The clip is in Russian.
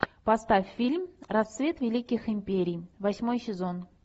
поставь фильм рассвет великих империй восьмой сезон